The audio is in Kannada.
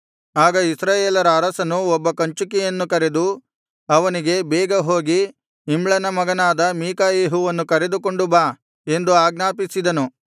ಆಗ ಇಸ್ರಾಯೇಲರ ಅರಸನು ಒಬ್ಬ ಕಂಚುಕಿಯನ್ನು ಕರೆದು ಅವನಿಗೆ ಬೇಗ ಹೋಗಿ ಇಮ್ಲನ ಮಗನಾದ ಮೀಕಾಯೆಹುವನ್ನು ಕರೆದುಕೊಂಡು ಬಾ ಎಂದು ಆಜ್ಞಾಪಿಸಿದನು